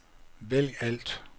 vælg alt